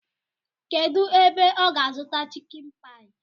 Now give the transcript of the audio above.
Kedụ ebe ọ ga-azụta chịkin paị?